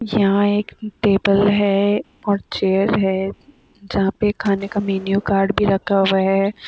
यहाँ एक टेबल है और चेयर जहां पे खाने का मेनुए कार्ड भी रखा है।